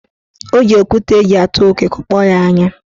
Ọ ji okwute eji atụ okwe kụkpọ ya anya.